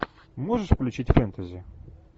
можешь включить фэнтези